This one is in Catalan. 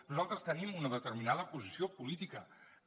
nosaltres tenim una determinada posició política que